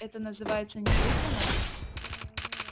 это называется не прибрано